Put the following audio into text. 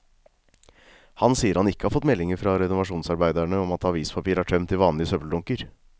Han sier han ikke har fått meldinger fra renovasjonsarbeiderne om at avispapir er tømt i vanlige søppeldunker.